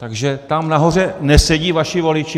Takže tam nahoře nesedí vaši voliči?